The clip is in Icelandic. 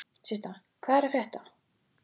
Systa, hvað er að frétta?